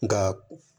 Nga